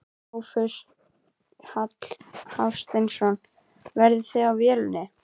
Sófus Hafsteinsson: Verð á vélinni?